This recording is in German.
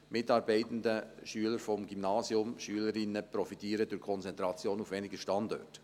Die Mitarbeitenden, Schüler und Schülerinnen des Gymnasiums profitieren durch die Konzentration auf weniger Standorte.